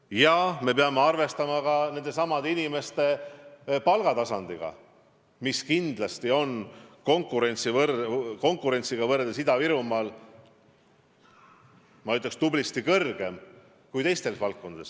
Ja me peame arvestama ka nende inimeste palgatasemega, mis kindlasti on Ida-Virumaal tublisti kõrgem kui seal teistes valdkondades.